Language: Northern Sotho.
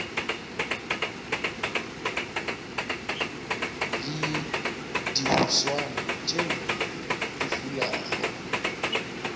le dihuswane tšeo di fulago